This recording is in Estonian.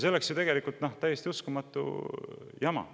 See oleks ju tegelikult täiesti uskumatu jama.